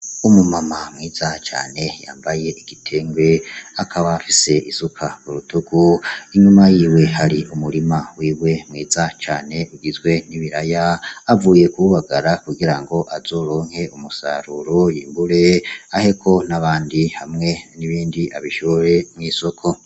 Umu mama mwiza cane yambaye igitenge akaba afise isuka k'urutugu, Inyuma yiwe hari umurima wiwe mwiza cane ugizwe n'ibiraya avuye kuwubagara kugirango azoronke umusaruro yimbure aheko n'abandi hamwe n'ibindi abishore mw'isoko.